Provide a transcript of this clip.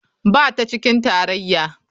Ba ta cikin tarayya.